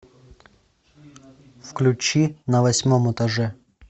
включи на восьмом этаже